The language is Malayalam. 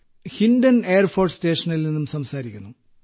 ഹിൻഡൻ എയർഫോഴ്സ് സ്റ്റേഷനിൽ നിന്നും സംസാരിക്കുന്നു